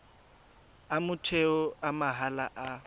a motheo a mahala a